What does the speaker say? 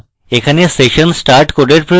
এখানে আপনার session start code প্রয়োজন